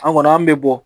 An kɔni an bɛ bɔ